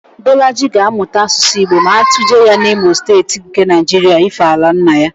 Bọlaji ga-amụta Asụsụ Igbo ma atụje ya n'Imo Steeti nke Naịjiria ífé ala nna ya